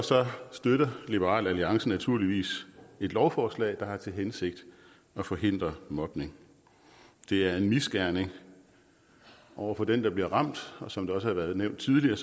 støtter liberal alliance naturligvis et lovforslag der har til hensigt at forhindre mobning det er en misgerning over for den der bliver ramt og som det også er blevet nævnt tidligere